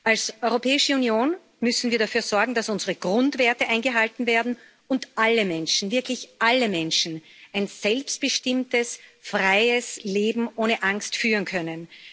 Als Europäische Union müssen wir dafür sorgen, dass unsere Grundwerte eingehalten werden und alle Menschen wirklich alle Menschen ein selbstbestimmtes, freies Leben ohne Angst führen können.